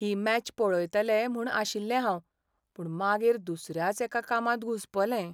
ही match पळयतलें म्हूण आशिल्लें हांव पूण मागीर दुसऱ्याच एका कामांत घुस्पलें.